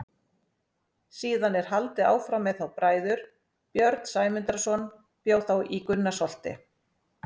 Síðan er haldið áfram með þá bræður: Björn Sæmundarson bjó þá í Gunnarsholti.